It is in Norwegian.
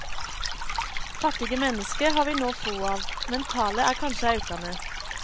Fattige menneske har vi no få av, men talet er kanskje aukande.